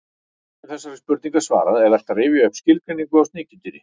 Áður en þessari spurningu er svarað er vert að rifja upp skilgreiningu á sníkjudýri.